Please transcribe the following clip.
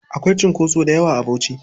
Akwai cunkoso dayawa a Bauchi.